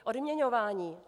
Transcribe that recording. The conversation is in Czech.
Odměňování.